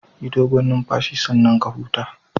Yi dogon numfashi sannan ka huta